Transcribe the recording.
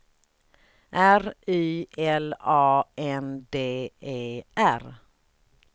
R Y L A N D E R